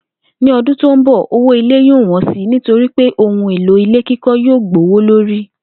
Ní o̩dũn tó ń bò̩, owó ilé yóò wó̩n si nítorí pé ohun èlò ilé kíkó̩ yóò gbówó lórí